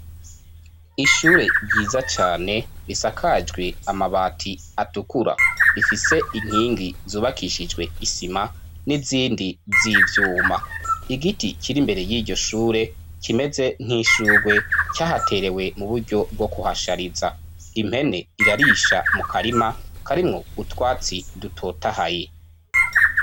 Ishure ryiza cane risakajwe amabati atukura, rifise inkingi zubakishijwe isima n'izindi z'ivyuma. Igiti kiri imbere y'iryo shure kimeze nk'ishugwe cahaterewe mu buryo bwo kuhashariza, impene irarisha mu karima karimwo utwatsi dutotahaye.